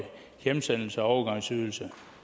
hjemsendelses og overgangsydelse